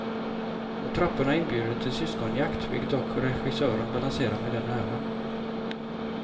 Och trapporna inbjuder till syskonjakt, vilket dock regissören balanserar med den äran.